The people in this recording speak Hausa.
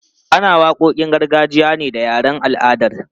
Ana waƙoƙin gargajiya ne da yaren al'adar.